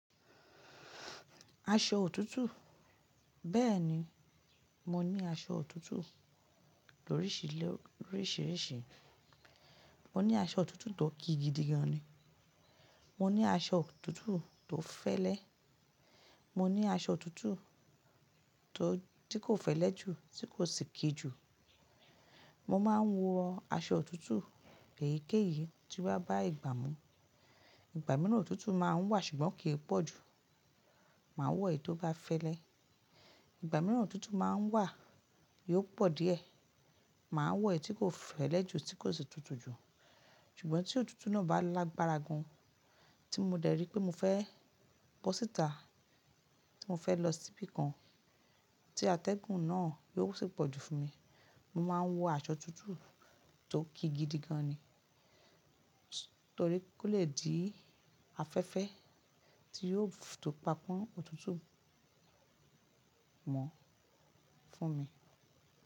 Aṣọ òtútù, bẹ́ẹ̀ni, mo ní aṣọ òtútù lóríṣiríṣi. Mo ní aṣọ òtútù tó kí gidi gan ni, mo ní aṣọ òtútù tó fẹ́lẹ́, mo ní aṣọ òtútù tí kò fẹ́lẹ́ ju tí kò sì kí ju. Mo máa ń wọ aṣọ òtútù, èyíkéyìí tí wá bá ìgbà mú. Ìgbà mìíràn òtútù máa ń wà ṣùgbọ́n kì í pọ̀ jù, màá wọ èyí tó bá fẹ́lẹ́. Ìgbà mìíràn òtútù máa ń wà, yóò pọ̀ díẹ̀, màá wọ èyí tí kò fẹ́lẹ́ ju tí kò sì tutù ju. Ṣùgbọ́n tí òtútù náà bá lágbára gan, tí mo dẹ̀ rí pé mo fẹ́ bọ́ síta, tí mo fẹ́ lọ síbí kan, tí atẹ́gùn náà yóò sì pọ̀jù fún mi, mo máa ń wọ aṣọ òtútù tó kí gidi gan ni. Torí kó le di afẹ́fẹ́ tí yóò tó pa pọ́n òtútù mọ́ fún mi.